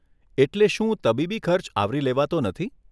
એટલે શું તબીબી ખર્ચ આવરી લેવાતો નથી?